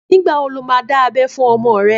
Nígbà wo lo máa dá abé fún ọmọ rẹ?